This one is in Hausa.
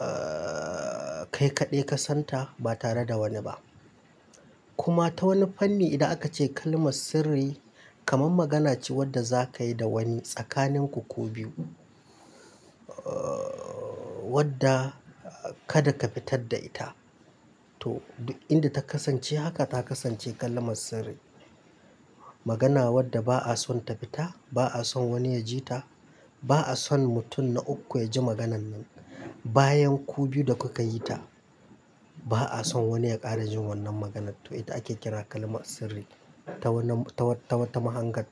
ahh, kai kaɗai ka san ta ba tare da wani ba. Kuma ta wani fanni idan aka ce kalmar sirri, kamar magana ce wadda za ka yi da wani tsakaninku ku biyu, ahh, wadda kada ka fitar da ita. To, inda ta kasance haka ta kasance kalmar sirri. Magana wadda ba'a son ta fita, ba'a son wani ya ji ta, ba'a son mutum na uku ya ji maganan nan bayan ku biyu da kuka yi ta. Ba'a son wani ya ƙara jin wannan maganar to ita ake kira kalmar sirri ta wata mahangar.